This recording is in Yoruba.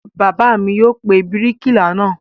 Bàbá mi yóò pe bíríkìlà náà.